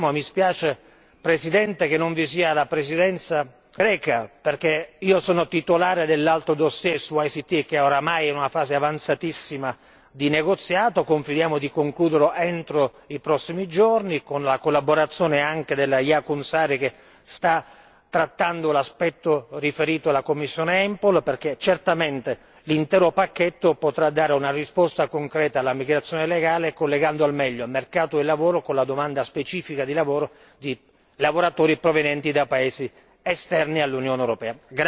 Confidiamo mi spiace Presidente che non vi sia la Presidenza greca, perché io sono titolare dell'altro dossier su ICT che ormai è in una fase avanzatissima di negoziato confidiamo di concluderlo nei prossimi giorni con la collaborazione anche della Jaakonsaari che sta trattando l'aspetto riferito alla commissione EMPL, perché certamente l'intero pacchetto potrà dare una risposta concreta alla migrazione legale collegando al meglio il mercato del lavoro con la domanda specifica di lavoro di lavoratori provenienti da paesi esterni all'Unione europea.